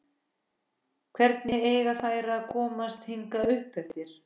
Hvernig eiga þær að komast hingað uppeftir?